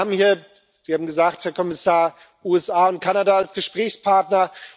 Wir haben hier Sie haben es gesagt, Herr Kommissar USA und Kanada als Gesprächspartner.